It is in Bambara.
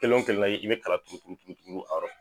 Kelen o kelen la i bɛ kala turu turu turu turu a rɔ.